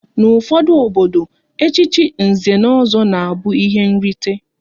N'ufodu obodo, echichi Nze na Ọzọ na abụ ihe nrite